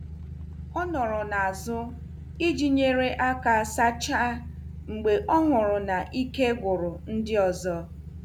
O nọrọ n'azụ iji nyere aka sachaa mgbe ọ hụrụ na ike gwụrụ ndị ọzọ.